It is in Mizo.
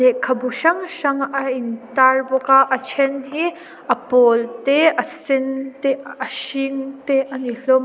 lehkhabu hrang hrang a in tar bawk a a then hi a pawl te a sen te a hring te a ni hlawm a.